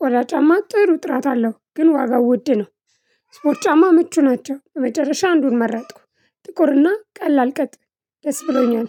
ቆዳ ጫማ ጥሩ ጥራት አለው ግን ዋጋው ውድ ነው። ስፖርት ጫማ ምቹ ናቸው። በመጨረሻ አንዱን መረጥኩ ጥቁርና ቀላል ቅጥ ደስ ብሎኛል